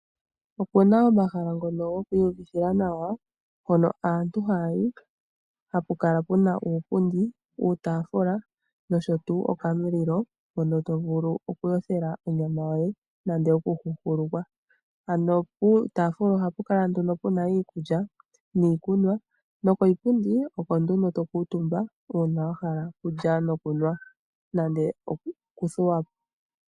Opu na omahala ngoka gokwiiyuvithila nawa hoka aantu haya yi hapu kala pu na uupundi, uutafula nosho wo okamulilo hono to vulu okuyothela onyama yoye nenge okuhuhulukwa ano puutafula oha pu kala pu na iikulya niikunwa noposhipundi opo to kuutumba uuna wa hala okulya nokunwa nenge wa hala okuthuwapo.